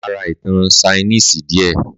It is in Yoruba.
Màá rá ìtàn sáínísí dìé